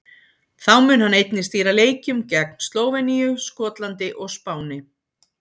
Þá mun hann einnig stýra leikjum gegn Slóveníu, Skotlandi og Spáni.